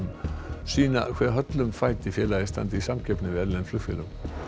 sýna hve höllum fæti félagið standi í samkeppni við erlend flugfélög